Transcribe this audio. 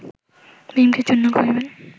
ভীমকে চূর্ণ করিবেন